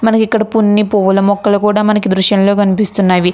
మనకి ఇక్కడ పున్ని పువ్వుల మొక్కలు కూడా మనకి దృశ్యంలో కనిపిస్తున్నవి.